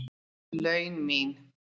laun mín.